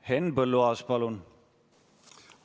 Henn Põlluaas, palun!